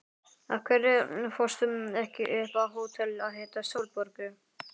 Af hverju fórstu ekki upp á hótel að hitta Sólborgu?